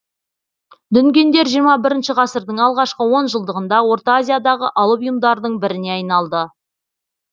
дүнгендер жиырма бірінші ғасырдың алғашқы он жылдығында орта азиядағы алып ұйымдардың біріне айналды